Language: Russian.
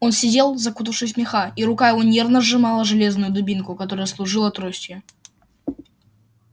он сидел закутавшись в меха и рука его нервно сжимала железную дубинку которая служила тростью